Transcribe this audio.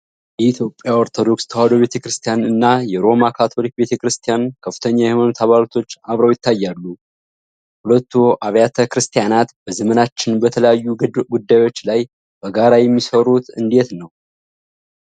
የኢትዮጵያ ኦርቶዶክስ ተዋሕዶ ቤተ ክርስቲያን እና የሮማ ካቶሊክ ቤተ ክርስቲያን ከፍተኛ የሃይማኖት አባቶች አብረው ይታያሉ። ሁለቱ አብያተ ክርስቲያናት በዘመናችን በተለያዩ ጉዳዮች ላይ በጋራ የሚሰሩት እንዴት ነው?